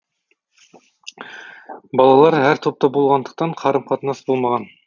балалар әр топта болғандықтан қарым қатынас болмаған